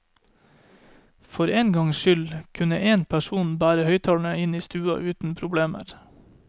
For engangs skyld kunne én person bære høyttalere inn i stua uten problemer.